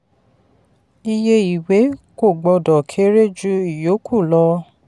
ìye ìwé kò gbọdọ̀ kéré ju iyókù lọ.